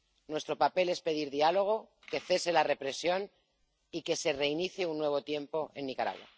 Nuestro papel es pedir diálogo, que cese la represión y que se reinicie un nuevo tiempo en Nicaragua.